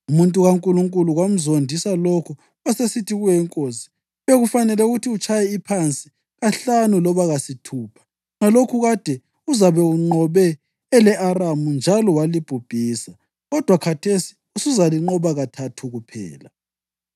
Umuntu kaNkulunkulu kwamzondisa lokho wasesithi kuyo inkosi, “Bekufanele ukuthi utshaye iphansi kahlanu loba kasithupha; ngalokho kade uzabe unqobe ele-Aramu njalo walibhubhisa. Kodwa khathesi usuzalinqoba kathathu kuphela.”